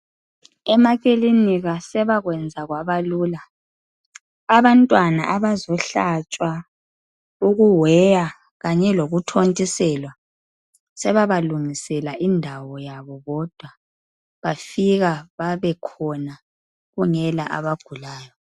Emakilinika sebakwenza kwabalula, abantwana abazohlatshwa, uku weya kanye lokuthontiselwa, sebabalungisela indawo yabo bodwa. Bafika babe khona kungela abagulayo